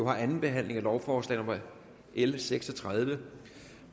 har andenbehandlet lovforslag nummer l seks og tredive